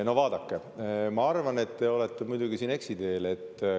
No vaadake, ma muidugi arvan, et te olete siin eksiteel.